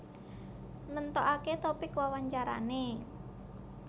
Nentokake topik wawancarane